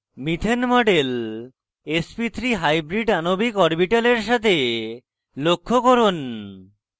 methane model sp3 hybrid আণবিক অরবিটালের সাথে লক্ষ্য করুন